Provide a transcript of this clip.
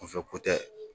Kunfɛ ko tɛ